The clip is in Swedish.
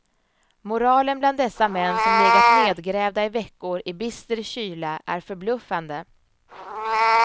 Moralen bland dessa män som legat nedgrävda i veckor i bister kyla är förbluffande.